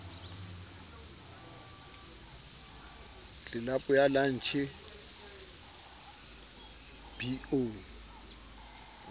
tlelapo ya lantjhe b o